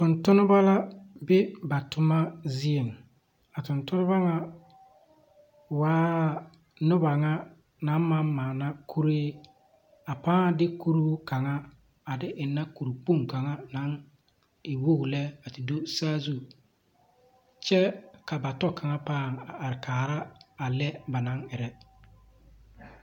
Tontonneba la be ba toma zieŋ. A Tontonneba ŋa waa noba ŋa naŋ maŋ maana kurii a pãã de kuruu kaŋa a de ennɛ kurkpoŋ kaŋa naŋ e wog lɛ a te do saazu, kyɛ ka ba tɔ kaŋa pãã a are kaara a lɛ ba naŋ erɛ.